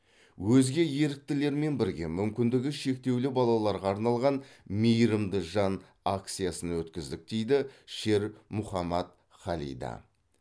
өзге еріктілерімен бірге мүмкіндігі шектеулі балаларға арналған мейірімді жан акциясын өткіздік дейді шер мухаммад халида